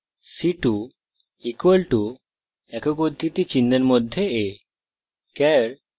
char c2 = একক উদ্ধৃতিচিহ্নের মধ্যে a